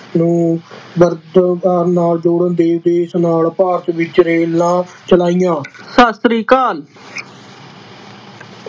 ਨੂੰ ਨਾਲ ਜੋੜਨ ਦੇ ਉਦੇਸ਼ ਨਾਲ ਭਾਰਤ ਵਿੱਚ ਰੇਲਾਂ ਚਲਾਈਆਂ ਸਤਿ ਸ੍ਰੀ ਅਕਾਲ।